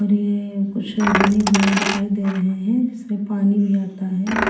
और अ ये कुछ बने हुए दिखाई दे रहे हैं इसमें पानी भी आता है और --